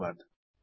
ଧନ୍ୟବାଦ